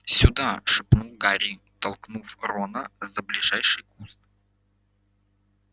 сюда шепнул гарри толкнув рона за ближайший куст